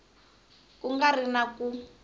ku nga ri na ku